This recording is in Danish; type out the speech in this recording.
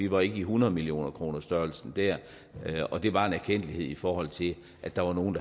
var i hundredemillionerkronersstørrelsesordenen og det var en erkendtlighed i forhold til at der var nogle